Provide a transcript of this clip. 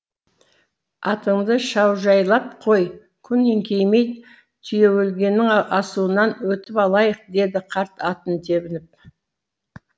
атыңды шаужайлап қой күн еңкеймей түйе өлгеннің асуынан өтіп алайық деді қарт атын тебініп